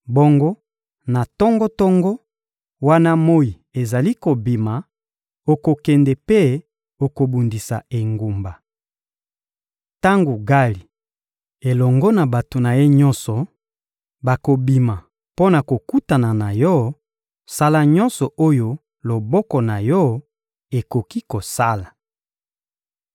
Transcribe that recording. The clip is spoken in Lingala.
Bongo, na tongo-tongo, wana moyi ezali kobima, okokende mpe okobundisa engumba. Tango Gali elongo na bato na ye nyonso bakobima mpo na kokutana na yo, sala nyonso oyo loboko na yo ekoki kosala.»